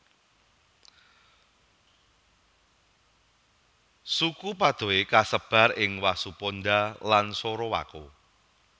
Suku Padoe kasebar ing Wasuponda lan Sorowako